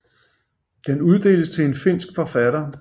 Den uddeles til en finsk forfatter